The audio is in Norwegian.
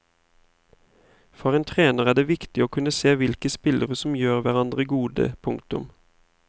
For en trener er det viktig å kunne se hvilke spillere som gjør hverandre gode. punktum